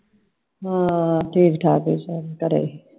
ਹਾਂ ਠੀਕ ਠਾਕ ਸਾਰੇ ਘਰੇ ਈ ਸੀl